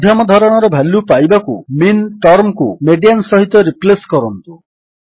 ମଧ୍ୟମ ଧରଣର ଭାଲ୍ୟୁ ପାଇବାକୁ ମିନ୍ ଟର୍ମକୁ ମିଡିଆନ୍ ସହିତ ରିପ୍ଲେସ୍ କରନ୍ତୁ